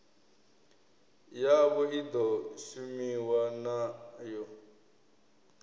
yavho i ḓo shumiwa nayo